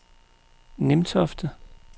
Nimtofte